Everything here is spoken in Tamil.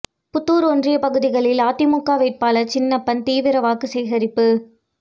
புதூர் ஒன்றிய பகுதிகளில் அதிமுக வேட்பாளர் சின்னப்பன் தீவிர வாக்கு சேகரிப்பு